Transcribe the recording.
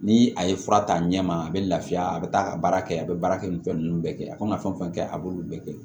Ni a ye fura ta a ɲɛma a bɛ lafiya a bɛ taa a ka baara kɛ a bɛ baara kɛ ni fɛn ninnu bɛɛ kɛ a kan ka fɛn fɛn kɛ a b'olu bɛɛ kɛ